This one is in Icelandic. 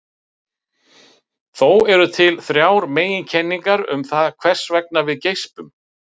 þó eru til þrjár meginkenningar um það hvers vegna við geispum